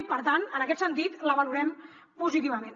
i per tant en aquest sentit la valorem positivament